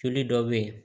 Joli dɔ bɛ yen